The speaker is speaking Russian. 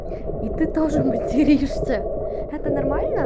и ты тоже материшься это нормально